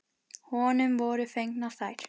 Honum voru fengnar þær.